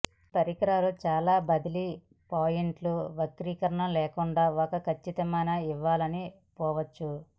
ఈ పరికరాలు చాలా బదిలీ పాయింట్లు వక్రీకరణ లేకుండా ఒక కచ్చితమైన ఇవ్వాలని పోవచ్చు